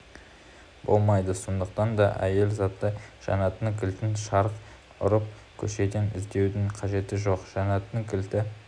болмайды сондықтан да әйел заты жәннаттың кілтін шарқ ұрып көшеден іздеудің қажеті жоқ жәннаттың кілті